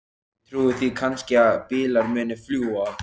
Ég trúi því kannski að bílar muni fljúga.